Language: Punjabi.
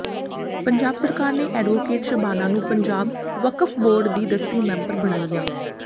ਪੰਜਾਬ ਸਰਕਾਰ ਨੇ ਐਡਵੋਕੇਟ ਸ਼ਬਾਨਾ ਨੂੰ ਪੰਜਾਬ ਵਕਫ਼ ਬੋਰਡ ਦੀ ਦਸਵੀਂ ਮੈਂਬਰ ਬਣਾਇਆ